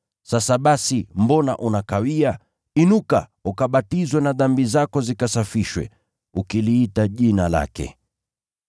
Sasa basi, mbona unakawia? Inuka, ukabatizwe na dhambi zako zikasafishwe, ukiliita Jina lake.’